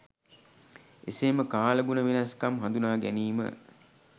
එසේම කාලගුණ වෙනස්කම් හඳුනා ගැනීම